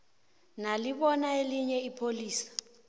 nalibona elinye ipholisa